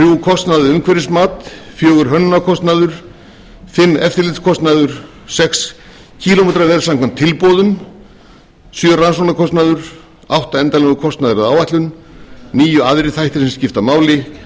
kostnaður við umhverfismat númer fjórða hönnunarkostnaður númer fimmta eftirlitskostnaður númer sjötta kílómetraverð samkvæmt tilboðum númer sjöunda rannsóknarkostnaður númer áttunda endanlegur kostnaður við áætlun númer níundi aðrir þættir sem skipta máli númer